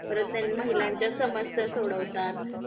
परत ते महिलांच्या समस्या सोडवतात